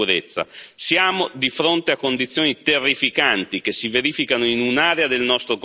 Siamo di fronte a condizioni terrificanti che si verificano in un'area del nostro continente.